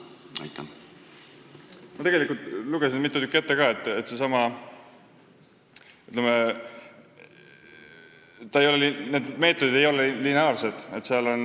Ma lugesin tegelikult mitu tükki ette ka, aga need meetodid ei ole lineaarsed.